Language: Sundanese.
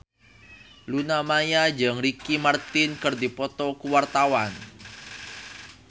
Luna Maya jeung Ricky Martin keur dipoto ku wartawan